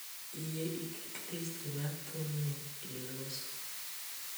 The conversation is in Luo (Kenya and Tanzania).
Yie iket listi mar thumni e loso